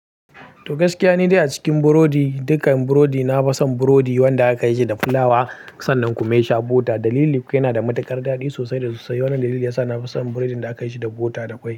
To gaskiya, ni dai a cikin burodi dukkan burodi, na fi son burodi wanda aka yi shi da fulawa sannan kuma ya sha bota. Dalili kuwa yana da matuƙar daɗi sosai da sosai. Wannan dalili ya sa na fi son burodin da aka yi shi da bota da kwai.